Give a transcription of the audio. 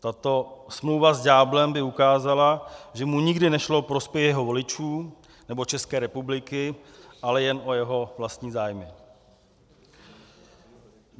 Tato smlouva s ďáblem by ukázala, že mu nikdy nešlo o prospěch jeho voličů nebo České republiky, ale jen o jeho vlastní zájmy.